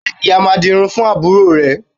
Ṣé ìyá máa dirun fún àbúrò rẹ̀